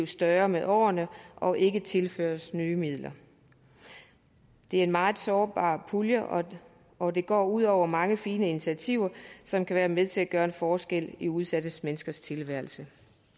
større med årene og ikke tilføres nye midler det er en meget sårbar pulje og og det går ud over mange fine initiativer som kan være med til at gøre en forskel i udsatte menneskers tilværelse